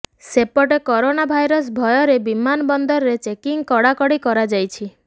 ସେପଟେ corona virus ଭୟରେ ବିମାନ ବନ୍ଦରରେ ଚେକିଂ କଡାକଡି କରାଯାଇଛି